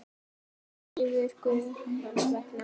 eilífur Guð hans vegna.